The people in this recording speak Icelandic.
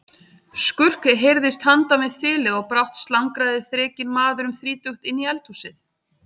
Skurk heyrðist handan við þilið og brátt slangraði þrekinn maður um þrítugt inn í eldhúsið.